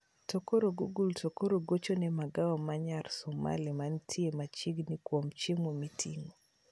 Tokoro google tokoro gochne magawa manyar somali mantie machiegni kuom chiemo miting'o